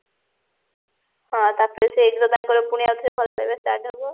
ହଁ ତାପରେ ସେଇଠି ତ ତାଙ୍କର ପୁଣି ଆଉଥରେ ଭଲ ପାଇବା start ହବ